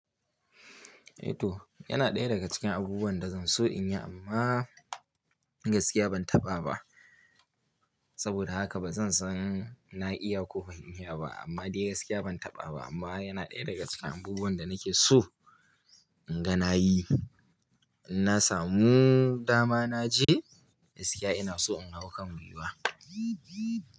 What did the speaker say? Eh to, yana ɗaya daga cikin abubuwan da zan so, in yi amma gaskiya ban taɓa ba. Saboda haka, ba zan san na iya ko ban iya ba, amma dai gaskiya ban taɓa ba, amma yana ɗaya daga cikin abubuwan da nake so inga na yi. In na samu dama na je, gaskiya ina so in hau kan guga.